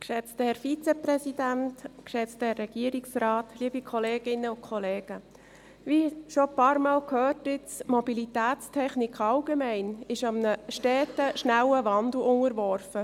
Wie nun schon einige Male gehört: Die Mobilitätstechnik allgemein ist einem steten schnellen Wandel unterworfen.